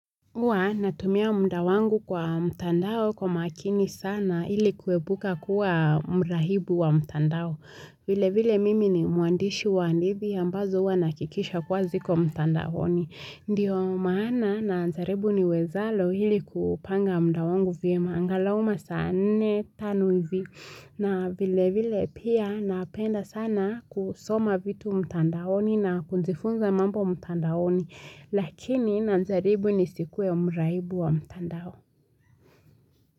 Uwa natumia muda wangu kwa mtandao kwa makini sana ili kuepuka kuwa mrahibu wa mtandao. Vile vile mimi ni muandishi wa hadithi ambazo huwa nahakikisha kuwa ziko mtandaoni. Ndiyo maana na najaribu niwezalo hili kupanga muda wangu vyema angalau masaa nne tano hivi. Na vile vile pia napenda sana kusoma vitu mtandaoni na kujifunza mambo mtandaoni. Lakini najaribu nisikue mraibu wa mtandao.